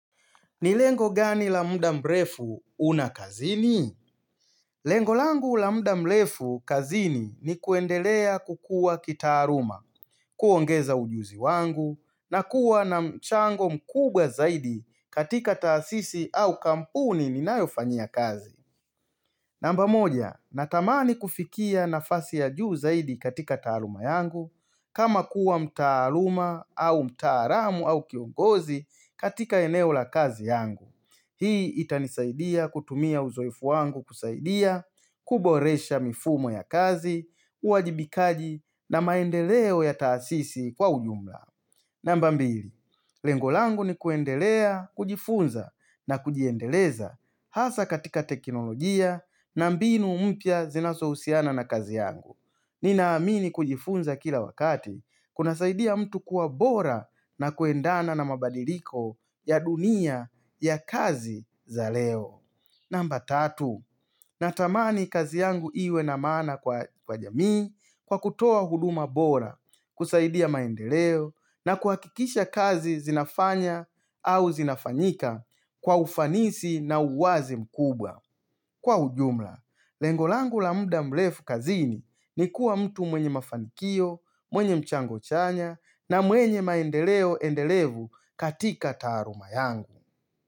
Ni lengo gani la mda mrefu unakazini? Lengo langu la muda mrefu kazini ni kuendelea kukua kitaaruma, kuongeza ujuzi wangu, na kuwa na mchango mkubwa zaidi katika taasisi au kampuni ninayofanyia kazi. Namba moja, natamani kufikia na fasi ya juu zaidi katika taaruma yangu, kama kuwa mtaaruma au mtaaramu au kiongozi katika eneo la kazi yangu. Hii itanisaidia kutumia uzoifu wangu kusaidia, kuboresha mifumo ya kazi, uwajibikaji na maendeleo ya taasisi kwa uyumla. Namba mbili, lengo langu ni kuendelea, kujifunza na kujiendeleza hasa katika teknolojia na mbinu umpia zinaso usiana na kazi yangu. Ninaamini kujifunza kila wakati kuna saidia mtu kuwa bora na kuendana na mabadiliko ya dunia ya kazi za leo Namba tatu, natamani kazi yangu iwe na mana kwa jamii kwa kutoa huduma bora kusaidia maendeleo na kuakikisha kazi zinafanya au zinafanyika kwa ufanisi na uwazi mkubwa Kwa ujumla, lengo langu la muda mlefu kazini ni kuwa mtu mwenye mafanikio, mwenye mchango chanya na mwenye maendeleo endelevu katika taruma yangu.